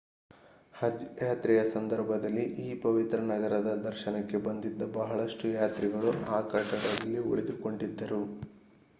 ಹಜ್ ಯಾತ್ರೆಯ ಸಂದರ್ಭದಲ್ಲಿ ಈ ಪವಿತ್ರ ನಗರದ ದರ್ಶನಕ್ಕೆ ಬಂದಿದ್ದ ಬಹಳಷ್ಟು ಯಾತ್ರಿಗಳು ಆ ಕಟ್ಟಡದಲ್ಲಿ ಉಳಿದುಕೊಂಡಿದ್ದರು